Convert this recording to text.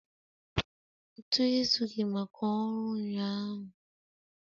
Ntu ezughị maka ọrụ ụnyaahụ